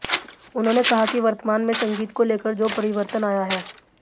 उन्होंने कहा कि वर्तमान में संगीत को लेकर जो परिवर्तन आया है